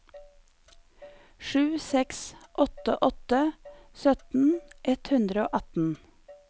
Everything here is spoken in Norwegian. sju seks åtte åtte sytten ett hundre og atten